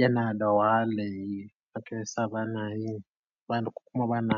yana da wahala. Eh, haka yasa banayi, bani ko kuma bana.